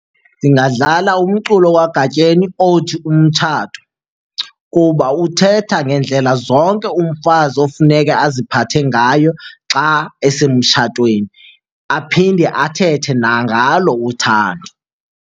Ndingadlala umculo kaGatyeni othi umtshato kuba uthetha ngendlela zonke umfazi ofuneke aziphathe ngayo xa esemtshatweni, aphinde athethe nangalo uthando.